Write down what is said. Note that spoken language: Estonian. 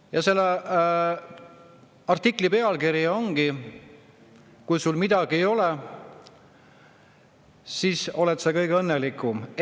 Ja selle artikli ongi, et kui sul midagi ei ole, siis oled sa kõige õnnelikum.